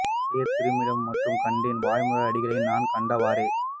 மழையார் திரு மிடறும் மற்றும் கண்டேன் வாய்மூர் அடிகளை நான் கண்டவாறே